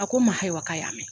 A ko n ma hayiwa k'a y'a mɛn.